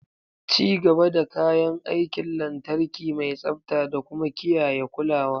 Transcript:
Ci gaba da kayan aikin lantarki mai tsabta da kuma kiyaye kulawa.